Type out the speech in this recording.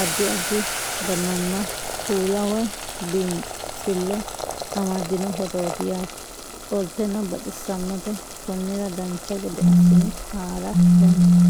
addi addi dananna kuula woy biinsille amaddino footooti yaate qoltenno baxissannote konnira dancha gede assine haara danchate